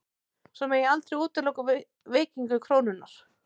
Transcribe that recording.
Svo megi aldrei útiloka veikingu krónunnar